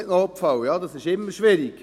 Ja, dies ist immer schwierig.